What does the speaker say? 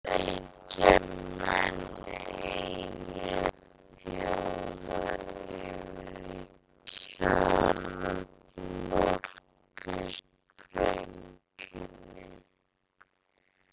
Auk þess bjuggu Bandaríkjamenn einir þjóða yfir kjarnorkusprengjunni.